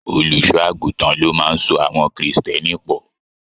Olùṣọ àgùntàn ló máa n so àwọn kírísítẹ́nì pọ.